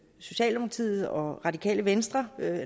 socialdemokratiet og radikale venstre